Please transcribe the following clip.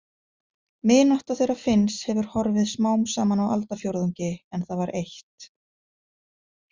Vinátta þeirra Finns hefur horfið smám saman á aldarfjórðungi en það var eitt.